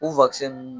U